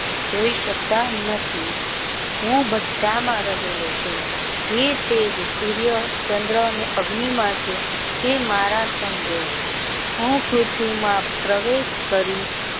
જોઈ સકતા નથી હું બધા માં રહેલો છું જે તેજ સૂર્ય ચંદ્ર ને અગ્નિ ના જે તે મારા સમજો હું પૃથ્વી માં પ્રવેશ કરીશ.